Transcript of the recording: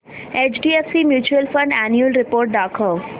HDFC mutual fund annual report दाखव